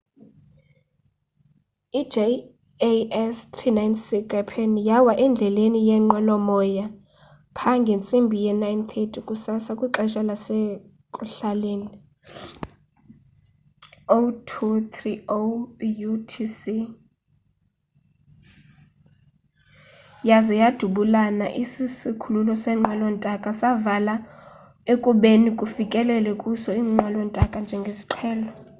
i-jas 39c gripen yawa endleleni yeenqwelo moya pha ngentsimbi ye 9:30 kusasa kwixesha lasekuhlalenie 0230utc yaze yadubula isikhululo seenqwelo ntaka savalwa ekubeni kufikele kuso iinqwelo ntaka njengesiqhelo